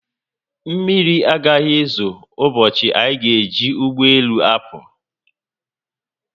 Mmiri agaghị ezo ụbọchị anyị ga-eji ụgbọelu apụ